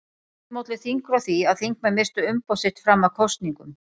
Stundum olli þingrof því að þingmenn misstu umboð sitt fram að kosningum.